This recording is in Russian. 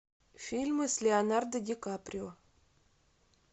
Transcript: фильмы с леонардо ди каприо